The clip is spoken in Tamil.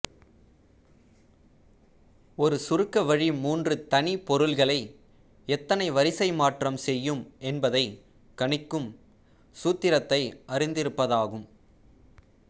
ஒரு சுருக்க வழி மூன்று தனி பொருட்களை எத்தனை வரிசைமாற்றம் செய்யும் என்பதைக் கணிக்கும் சூத்திரத்தை அறிந்திர்ப்பதாகும்